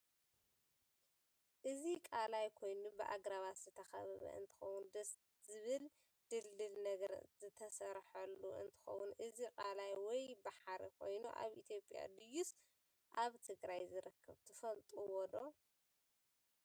እዚ ቃላይ ኮይኑ ብኣግራባት ዝተከበበ እንትከውን ደስ ዝብል ድልድል ነገር ዝተሰርሐሉ እንትከውን እዚ ቃላይ ወይ ባሕሪ ኮይኑ ኣብ ኢትዮጵያ ድይስ ኣብ ትግራይ ዝርከብ ትፍልጥዎዶ?